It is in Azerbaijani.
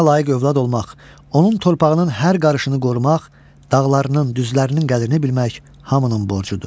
Vətənə layiq övlad olmaq, onun torpağının hər qarışını qorumaq, dağlarının, düzlərinin qədrini bilmək hamının borcudur.